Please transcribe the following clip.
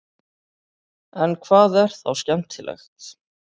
en hvað er þá skemmtilegt